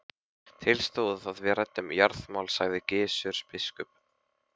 Til stóð að við ræddum jarðamál, sagði Gizur biskup.